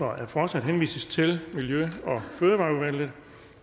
at forslaget henvises til miljø og fødevareudvalget